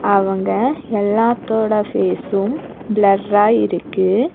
அவங்க எல்லாத்தோட ஃபேஸும் பிளர்ரா இருக்கு.